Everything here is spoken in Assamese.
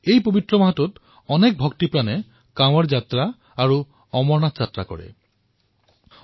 এই পবিত্ৰ মাহটোত বহু শ্ৰদ্ধালুৱে কাংৱড় যাত্ৰা আৰু অমৰনাথ যাত্ৰালৈ যায়